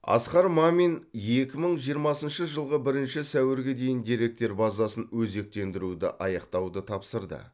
асқар мамин екі мың жиырмасыншы жылғы бірінші сәуірге дейін деректер базасын өзектендіруді аяқтауды тапсырды